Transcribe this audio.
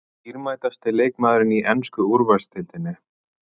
Dýrmætasti leikmaðurinn í ensku úrvalsdeildinni?